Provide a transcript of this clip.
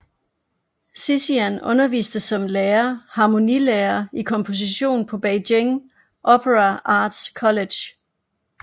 Xixian underviste som lærer harmonilærer i komposition på Beijing Opera Arts College